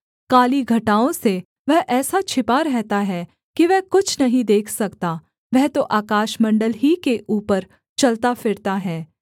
काली घटाओं से वह ऐसा छिपा रहता है कि वह कुछ नहीं देख सकता वह तो आकाशमण्डल ही के ऊपर चलता फिरता है